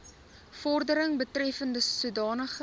vordering betreffende sodanige